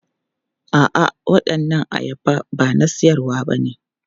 A'a, waɗannan ayaba ba na siyarwa bane.